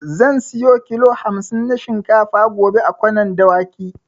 Zan siyo kilo hamsin na shinkafa gobe a Kwanar Dawaki.